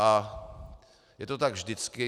A je to tak vždycky.